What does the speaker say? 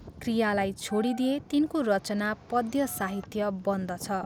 क्रियालाई छोडिदिए तिनको रचना पद्य साहित्य बन्दछ।